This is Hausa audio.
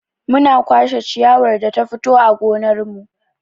Muna kwashe ciyawar da ta fito a gonar mu.